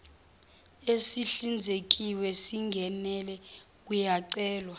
esihlinzekiwe singenele uyacelwa